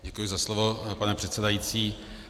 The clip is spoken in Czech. Děkuji za slovo, pane předsedající.